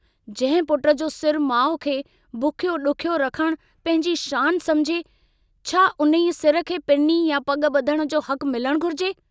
जंहिं पुट जो सिरु माउ खे बुखियो डुखियो रखण पंहिंजी शान समुझे छा उन्हीअ सिर खे पिनी या पग बुधण जो हकु मिलणु घुरिजे?